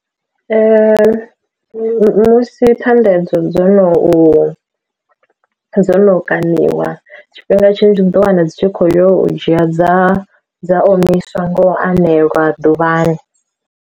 Musi Thanḓa edzo dzo no u dzo no kaṋiwa tshifhinga tshinzhi u ḓo wana dzi tshi kho yo u dzhia dza dza omiswa ngo aneliwa ḓuvhani.